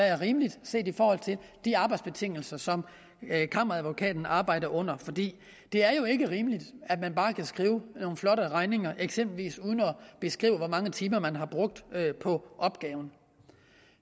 er rimeligt set i forhold til de arbejdsbetingelser som kammeradvokaten arbejder under for det er jo ikke rimeligt at man bare kan skrive nogle flotte regninger eksempelvis uden at beskrive hvor mange timer man har brugt på opgaven